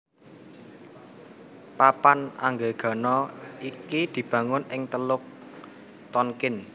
Papan Anggegana iki dibangun ing Teluk Tonkin